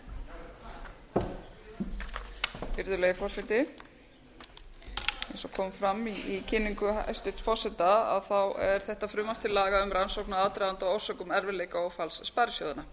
virðulegi forseti eins og kom fram í kynningu hæstvirts forseta er þetta frumvarp til alls um rannsókn á aðdraganda og orsökum erfiðleika og falls sparisjóðanna